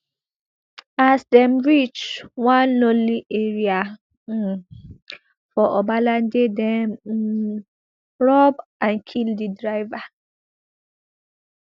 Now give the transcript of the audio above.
as dem reach one lonely area um for obalende dem um rob and kill di driver